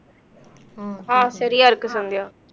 ஆஹ் சரியா இருக்கு சந்தியா